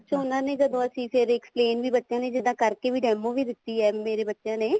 ਅੱਛਿਆ ਉਹਨਾ ਨੇ ਜਦੋਂ ਅਸੀਂ ਫ਼ੇਰ explain ਵੀ ਬੱਚਿਆਂ ਨੇ ਜਿੱਦਾਂ ਕਰਕੇ demo ਵੀ ਦਿੱਤੀ ਹੈ ਮੇਰੇ ਬੱਚਿਆਂ ਨੇ